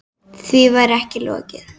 Því væri ekki lokið.